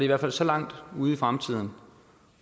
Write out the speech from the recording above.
hvert fald så langt ude i fremtiden